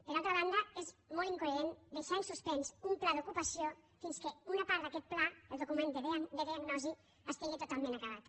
per altra banda és molt incoherent deixar en suspens un pla d’ocupació fins que una part d’aquest pla el document de diagnosi estigui totalment acabat